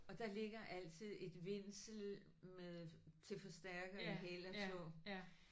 Og der ligger altid et vindsel med til forstærke i hæl og tå